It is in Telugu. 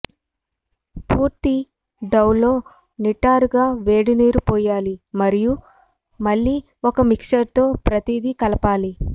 పూర్తి డౌ లో నిటారుగా వేడినీరు పోయాలి మరియు మళ్ళీ ఒక మిక్సర్ తో ప్రతిదీ కలపాలి